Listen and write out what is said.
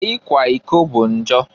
Ikwa iko bụ njọ.